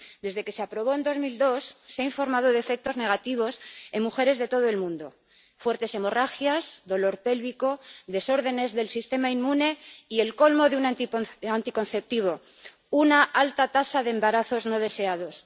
Desde que se aprobó en 2002, se ha informado de efectos negativos en mujeres de todo el mundo fuertes hemorragias, dolor pélvico, desórdenes del sistema inmune y, el colmo de un anticonceptivo, una alta tasa de embarazos no deseados.